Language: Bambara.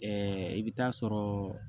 Ɛɛ i bɛ taa sɔrɔɔ